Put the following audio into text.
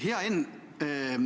Hea Enn!